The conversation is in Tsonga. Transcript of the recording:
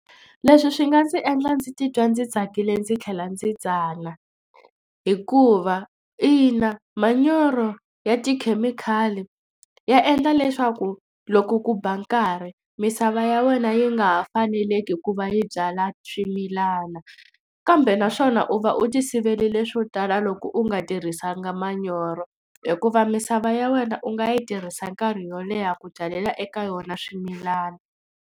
Leswi swi nga ndzi endla ndzi titwa ndzi tsakile ndzi tlhela ndzi tsana hikuva ina manyoro ya tikhemikhali ya endla leswaku loko ku ba nkarhi misava ya wena yi nga ha faneleki hi ku va yi byala swimilana kambe naswona u va u tivelile swo tala loko u nga tirhisanga manyoro hikuva misava ya wena u nga yi tirhisa nkarhi wo leha ku byalela eka yona swimilana.